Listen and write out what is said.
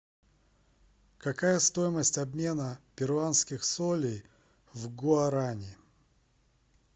какая стоимость обмена перуанских солей в гуарани